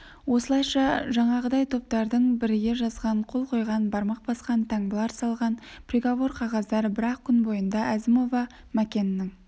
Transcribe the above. осылайша жаңағыдай топтардың біріге жазған қол қойған бармақ басқан таңбалар салған приговор қағаздары бір-ақ күн бойында әзімова мәкеннің